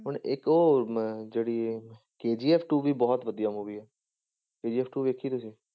ਹੁਣ ਇੱਕ ਉਹ ਅਮ ਜਿਹੜੀ KGF two ਵੀ ਬਹੁਤ ਵਧੀਆ movie ਆ KGF two ਦੇਖੀ ਤੁਸੀਂ।